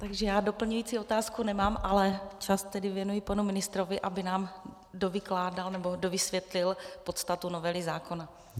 Takže já doplňující otázku nemám, ale čas tedy věnuji panu ministrovi, aby nám dovykládal nebo dovysvětlil podstatu novely zákona.